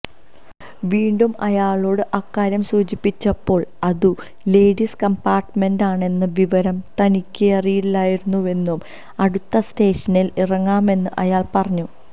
വീണ്ടും അയാളോട് അക്കാര്യം സൂചിപ്പിച്ചപ്പോൾ അതു ലേഡീസ് കംപാർട്ട്മെന്റ് ആണെന്ന വിവരം തനിക്കറിയില്ലായിരുന്നുവെന്നും അടുത്ത സ്റ്റേഷനിൽ ഇറങ്ങാമെന്നും അയാൾ പറഞ്ഞു